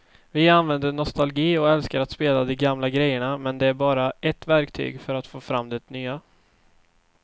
Vi använder nostalgi och älskar att spela de gamla grejerna men det är bara ett verktyg för att få fram det nya.